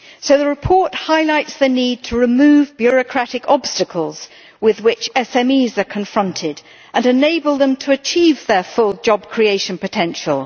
The report highlights the need to remove bureaucratic obstacles with which SMEs are confronted and enable them to achieve their full job-creation potential.